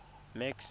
max